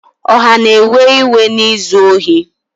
Ọha na-ewe iwe na izu ohi